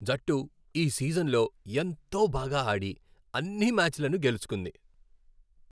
జట్టు ఈ సీజన్లో ఎంతో బాగా ఆడి, అన్ని మ్యాచ్లను గెలుచుకుంది.